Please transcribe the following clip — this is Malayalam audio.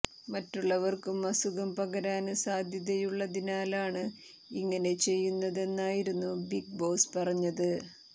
മറ്റുള്ളവര്ക്കും അസുഖം പകരാന് സാധ്യതയുള്ളതിനാലാണ് ഇങ്ങനെ ചെയ്യുന്നതെന്നായിരുന്നു ബിഗ് ബോസ് പറഞ്ഞത്